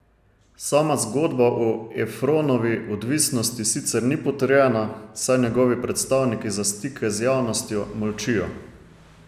Sama zgodba o Efronovi odvisnosti sicer ni potrjena, saj njegovi predstavniki za stike z javnostjo molčijo.